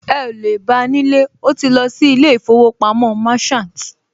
Ẹ ò lè bá nílé, ó ti lọ sí ilé ìfowópamọ́ Merchant